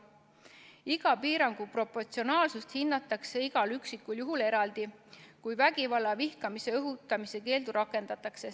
Iga piirangu proportsionaalsust hinnatakse igal üksikul juhul eraldi, kui vägivalla ja vihkamise õhutamise keeldu rakendatakse.